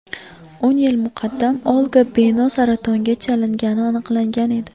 O‘n yil muqaddam Olga Beno saratonga chalingani aniqlangan edi.